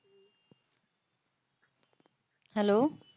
Hello